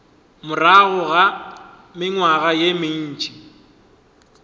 morago ga mengwaga ye mentši